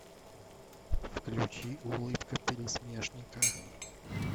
включи улыбка пересмешника